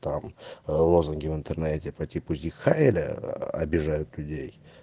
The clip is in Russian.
там лозунги в интернете по типу зиг хайля обижают людей